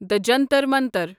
دٕ جنتر منتر